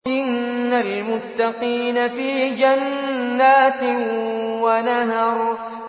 إِنَّ الْمُتَّقِينَ فِي جَنَّاتٍ وَنَهَرٍ